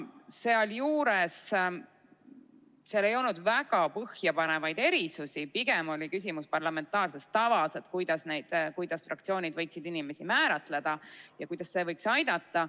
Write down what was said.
Sealjuures ei olnud väga põhjapanevaid erisusi, pigem oli küsimus parlamentaarses tavas, näiteks, kuidas fraktsioonid võiksid inimesi määratleda ja kuidas see võiks aidata.